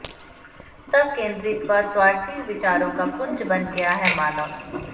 स्वकेंद्रित व स्वार्थी विचारों का पुंज बन गया है मानव